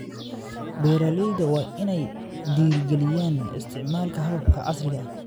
Beeralayda waa inay dhiirigeliyaan isticmaalka hababka casriga ah.